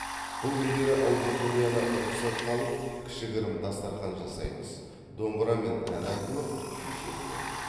бұл күндері аудиторияны рұқсатқа алып кішігірім дастархан жасаймыз домбырамен ән айтылып күй шертіледі